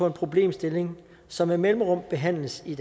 en problemstilling som med mellemrum behandles i